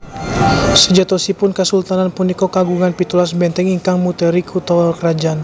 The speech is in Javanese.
Sejatosipun kasultanan punika kagungan pitulas bèntèng ingkang muteri kutha krajan